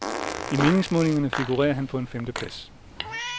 I meningsmålingerne figurerer han på en femteplads.